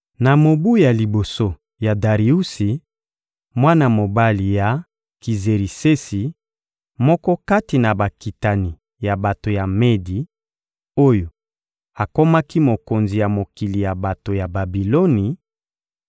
Na mobu ya liboso ya Dariusi, mwana mobali ya Kizerisesi, moko kati na bakitani ya bato ya Medi, oyo akomaki mokonzi ya mokili ya bato ya Babiloni;